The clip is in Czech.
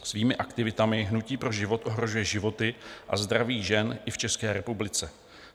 Svými aktivitami Hnutí pro život ohrožuje životy a zdraví žen i v České republice.